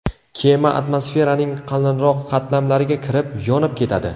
Kema atmosferaning qalinroq qatlamlariga kirib, yonib ketadi .